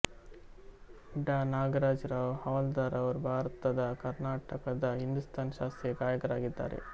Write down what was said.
ಡಾ ನಾಗರಾಜ ರಾವ್ ಹವಾಲ್ದಾರ್ ಅವರು ಭಾರತದಕರ್ನಾಟಕದ ಹಿಂದೂಸ್ತಾನಿ ಶಾಸ್ತ್ರೀಯ ಗಾಯಕರಾಗಿದ್ದಾರೆ